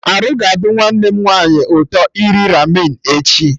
Arụ ga adị nwanne m nwaanyị ụtọ iri Ramen echi